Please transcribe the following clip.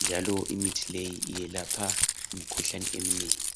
njalo imithi leyi iyelapha imikhuhlane eminengi.